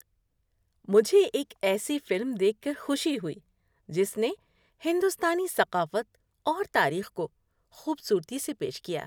مجھے ایک ایسی فلم دیکھ کر خوشی ہوئی جس نے ہندوستانی ثقافت اور تاریخ کو خوبصورتی سے پیش کیا۔